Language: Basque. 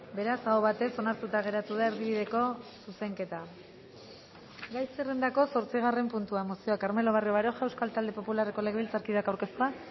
beraz aho batez onartuta geratu da erdibideko zuzenketa gai zerrendako zortzigarren puntua mozioa carmelo barrio baroja euskal talde popularreko legebiltzarkideak aurkeztua